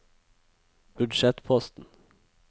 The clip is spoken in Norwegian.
budsjettposten